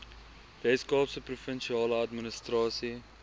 weskaapse provinsiale administrasie